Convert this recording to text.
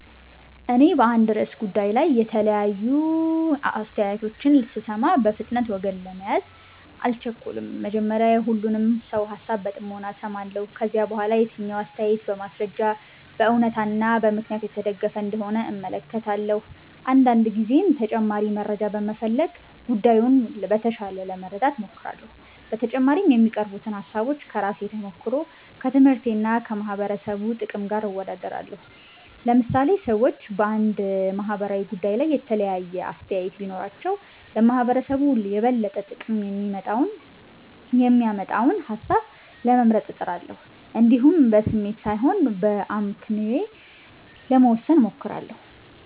እኔ በአንድ ርዕሰ ጉዳይ ላይ የተለያዩ አስተያየቶችን ስሰማ፣ በፍጥነት ወገን ለመያዝ አልቸኩልም። መጀመሪያ የሁሉንም ሰው ሃሳብ በጥሞና እሰማለሁ። ከዚያ በኋላ የትኛው አስተያየት በማስረጃ፣ በእውነታ እና በምክንያት የተደገፈ እንደሆነ እመለከታለሁ። አንዳንድ ጊዜም ተጨማሪ መረጃ በመፈለግ ጉዳዩን በተሻለ ለመረዳት እሞክራለሁ። በተጨማሪም የሚቀርቡትን ሃሳቦች ከራሴ ተሞክሮ፣ ከትምህርቴ እና ከማህበረሰቡ ጥቅም ጋር አወዳድራለሁ። ለምሳሌ ሰዎች በአንድ ማህበራዊ ጉዳይ ላይ የተለያየ አስተያየት ቢኖራቸው፣ ለማህበረሰቡ የበለጠ ጥቅም የሚያመጣውን ሃሳብ ለመምረጥ እጥራለሁ። እንዲሁም በስሜት ሳይሆን በአመክንዮ ለመወሰን እሞክራለሁ።